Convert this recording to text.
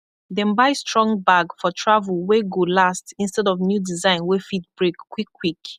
dem buy strong bag for travelwey go last instead of new design wey fit brake kwikkwik